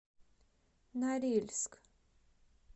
норильск